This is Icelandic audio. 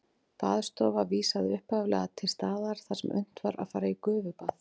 Baðstofa vísaði upphaflega til staðar þar sem unnt var að fara í gufubað.